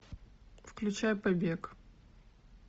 включай побег